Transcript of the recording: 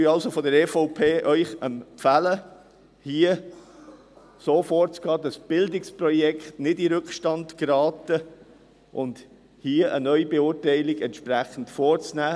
Wir von der EVP empfehlen Ihnen also, hier so vorzugehen, dass die Bildungsprojekte nicht in den Rückstand geraten, und hier eine Neubeurteilung vorzunehmen.